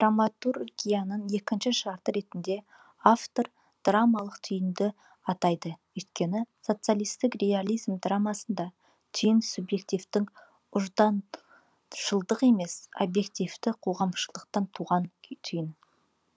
драматургияның екінші шарты ретінде автор драмалық түйінді атайды өйткені социалистік реализм драмасында түйін субъективтік ұжданшылдық емес объективті қоғамшылдықтан туған түйін